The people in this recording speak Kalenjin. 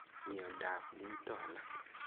Miondap muito alak